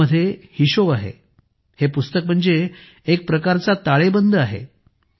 यामध्ये हिशोब आहे हे पुस्तक म्हणजे एक प्रकारचा ताळेबंद आहे